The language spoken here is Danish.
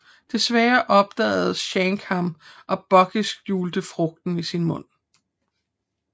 Desværre opdagede Shanks ham og Buggy skjulte frugten i sin mund